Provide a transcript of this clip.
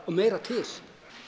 meira til